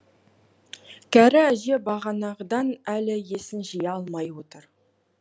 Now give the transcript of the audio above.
кәрі әже бағанағыдан әлі есін жия алмай отыр